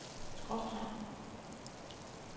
skråstreg